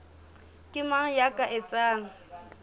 ke mang ya ka etsang